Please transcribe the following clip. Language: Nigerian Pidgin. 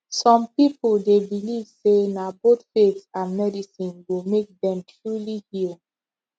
some people dey believe say na both faith and medicine go make dem truly heal